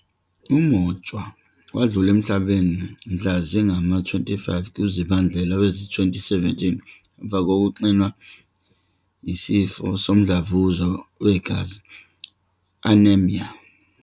UMotshwa wadlula emhlabeni mhla zingama-25 kuZibandlela wezi-2017 emva kokuxinwa yisifo somdlavuza wegazi, "anemia".